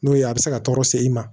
N'o ye a bɛ se ka tɔɔrɔ se i ma